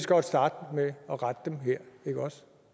godt starte med at rette dem her ikke også